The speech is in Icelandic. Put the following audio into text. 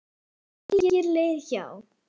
Ég átti hér leið hjá.